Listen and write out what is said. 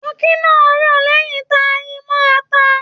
Tọkí náà rọ̀ lẹ́yìn ta yi mọ́ ata.